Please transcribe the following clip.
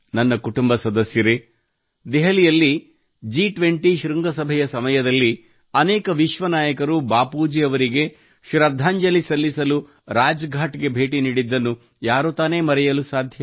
ನನ್ನ ಕುಟುಂಬ ಸದಸ್ಯರೇ ದೆಹಲಿಯಲ್ಲಿ ಜಿ20 ಶೃಂಗಸಭೆಯ ಸಮಯದಲ್ಲಿ ಅನೇಕ ವಿಶ್ವ ನಾಯಕರು ಬಾಪೂಜಿ ಅವರಿಗೆ ಶ್ರದ್ಧಾಂಜಲಿ ಸಲ್ಲಿಸಲು ರಾಜಘಾಟ್ ಗೆ ಬೇಟಿ ನೀಡಿದ್ದನ್ನು ಯಾರು ತಾನೇ ಮರೆಯಲು ಸಾಧ್ಯ